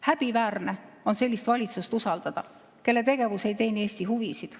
Häbiväärne on sellist valitsust usaldada, kelle tegevus ei teeni Eesti huvisid.